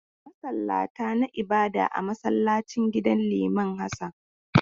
Masallata na ibada a masallacin gidan liman Hassan.